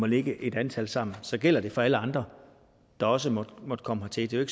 ligge et antal sammen så gælder det for alle andre der også måtte komme hertil det er jo